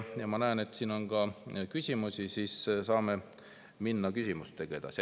Kuna ma näen, et siin on ka küsimusi, siis saame minna küsimustega edasi.